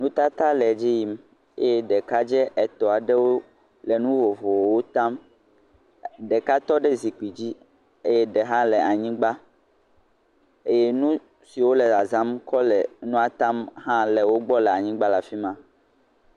Nutata le edzi yim. Eye ɖɛekadzɛ etɔ̃ aɖewo le nu vovovowo tam. Ɖeka tɔ ɖe zikpidzi eye ɖe hã le anyigba. Eye nu si wole zɔzãm kɔ le nua tam hã le wogbɔ le anyigba le afi ma.